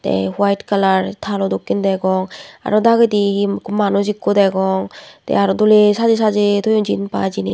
te white colour thalo dokkin degong aro dagedi he manuj ekku degong te aro dole sajey sajey thoyun jinich.